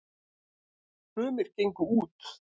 sumir gengu út